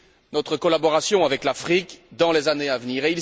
notre collaboration avec l'Afrique dans les années à venir.